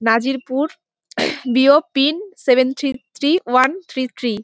Nazirpur BO. Pin seven three three one three three.